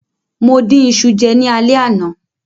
Mo dín iṣu jẹ ní alẹ́ àná.